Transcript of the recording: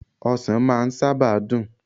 osan maa saba n dun